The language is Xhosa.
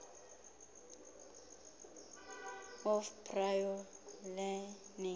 of prior learning